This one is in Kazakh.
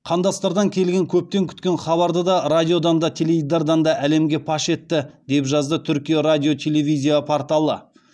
қандастардан келген көптен күткен хабарды да радиодан да теледидардан да әлемге паш етті деп жазады түркия радио телевизия порталы